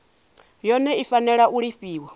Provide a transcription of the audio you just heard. yone i fanela u lifhiwa